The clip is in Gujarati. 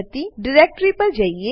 ચાલો એ ડીરેક્ટરી પર જઈએ